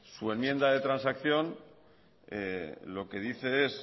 su enmienda de transacción lo que dice es